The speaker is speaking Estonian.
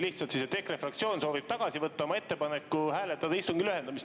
Lihtsalt EKRE fraktsioon soovib tagasi võtta oma ettepaneku hääletada istungi lühendamist.